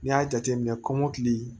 N'i y'a jateminɛ kɔmɔkili